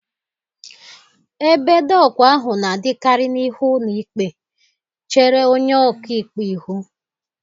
Ebe doku ahụ na-adịkarị n'ihu ụlọ ikpe, chere onye ọka ikpe ihu.